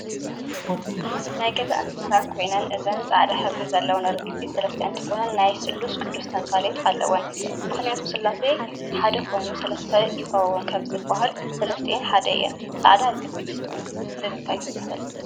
ናይ ገዛ እንስሳ ኮይነን እዘን ፃዕዳሕብሪ ዘለው ሪግቢት ሰለስተ እንትኮና ናይ ስሉስ ቅዱስ ተምሳሌት ኣለውን። ምክንያቱ ስላሴ ሓደ ይኮኑ ሰለስተ ይኮኑ ከም ዝብል ሰለስቲኣን ሓደ እየን። ፃዕዳ ሪግቢት ብምታይ ትምሰል?